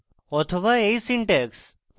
অথবা এই syntax